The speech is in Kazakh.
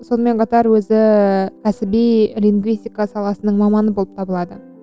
сонымен қатар өзі кәсіби лингвистика саласының маманы болып табылады